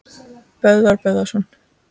Böðvar Böðvarsson